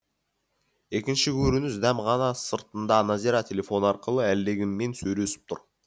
екінші көрініс дәмхана сыртында назира телефон арқылы әлдекіммен сөйлесіп тұр